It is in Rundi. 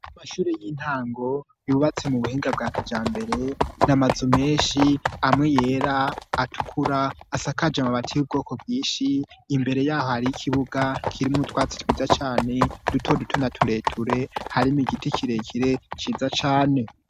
Mashuri y'intango yubatse mu buhinga bwa kija mbere namazu menshi amwe yera atukura asakaje amabati y'ubwoko bwinshi imbere yaho hari ikibuga kirimwo twatsi twiza cane duto dutuna tureture harimo igiti kirekire ciza cane.